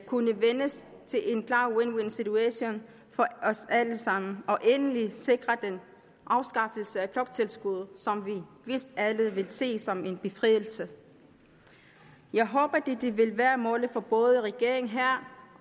kunne vendes til en klar win win situation for os alle sammen og endeligt sikre den afskaffelse af bloktilskuddet som vi vist alle vil se som en befrielse jeg håber dette vil være målet for både regeringen her